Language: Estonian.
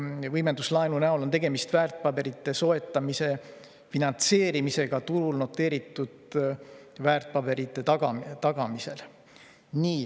Võimenduslaenu näol on tegemist väärtpaberite soetamise finantseerimisega turul noteeritud väärtpaberite tagatisel.